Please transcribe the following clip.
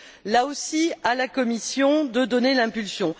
Là aussi, à la Commission de donner l'impulsion.